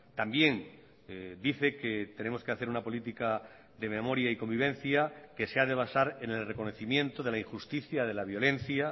también dice que tenemos que hacer una política de memoria y convivencia que se ha de basar en el reconocimiento de la injusticia de la violencia